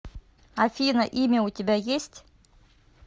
афина имя у тебя есть